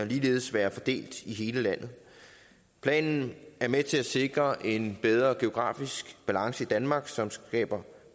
ligeledes være fordelt i hele landet planen er med til at sikre en bedre geografisk balance i danmark som skaber